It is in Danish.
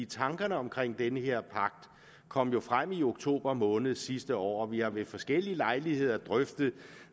tankerne omkring den her pagt kom jo frem i oktober måned sidste år og vi har ved forskellige lejligheder drøftet